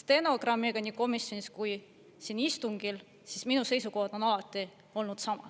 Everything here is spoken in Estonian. stenogrammiga nii komisjonis kui ka siin istungil, siis minu seisukoht on alati olnud sama.